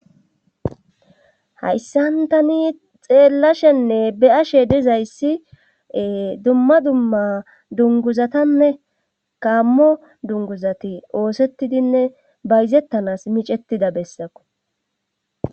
hayssan tani xeellashenne be7ashe dizayssi dumma dumma dunguzatanne gaammo dunguzati oosettidinne bayzettanas micettida bessako.